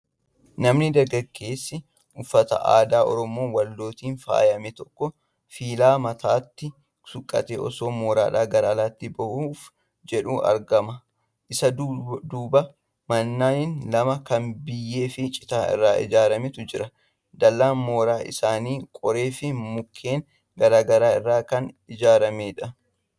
Nami dargaggeessi uffata aadaa Oromoo Wallootiin faayame tokko filaa mataatti suuqqatee osoo mooraadhaa gara alaatti bahuuf jedhuu argama. Isa dudduuba manneen lama kan biyyee fi citaa irra ijaaramantu jira. dallaan mooraa isaanii qoree fi mukkeen garaa garaa irraa kan ijaaramedha.